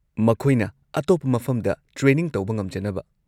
ꯃꯈꯣꯏꯅ ꯑꯇꯣꯞꯄ ꯃꯐꯝꯗ ꯇ꯭ꯔꯦꯅꯤꯡ ꯇꯧꯕ ꯉꯝꯖꯅꯕ꯫